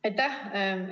Aitäh!